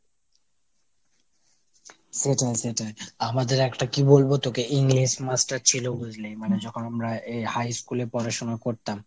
সেটাই সেটাই। আমাদের একটা কি বলবো তোকে English master ছিল বুঝলি মানে যখন আমরা এ high ইস্কুলে এ পড়াশুনা করতাম